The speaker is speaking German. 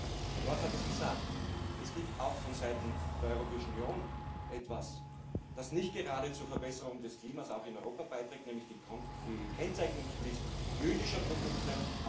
Und die Kollegen Storch hat es gesagt Es gibt auch vonseiten der Europäischen Union etwas, das nicht gerade zur Verbesserung des Klimas, auch in Europa, beiträgt, nämlich die Kennzeichnungspflicht jüdischer Produkte.